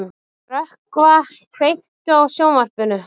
Rökkva, kveiktu á sjónvarpinu.